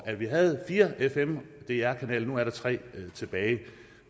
at vi havde fire fm dr kanaler og nu er der tre tilbage